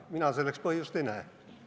Mina selleks põhjust ei näe.